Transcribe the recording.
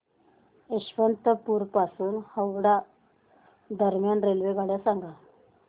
यशवंतपुर पासून हावडा दरम्यान रेल्वेगाड्या सांगा